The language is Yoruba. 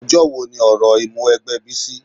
Ọjọ́ wo ni òrò Ìmúwẹgbẹ́ Bísí?